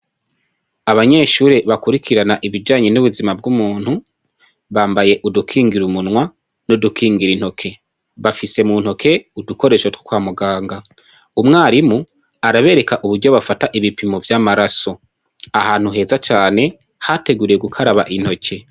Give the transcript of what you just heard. Abanyeshure bakwirikirana ibijanye nubuzima bw'umuntu bambaye udukigira umunwa nudukigira intoke, bafise muntoke udukoresho two kwamuganga, umwarimu arabereka uburyo bafata ibipimo vy'amaraso ahantu heza cane hateguriwe gukaraba intoke.